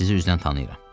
Sizi üzdən tanıyıram.